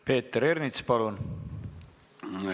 Peeter Ernits, palun!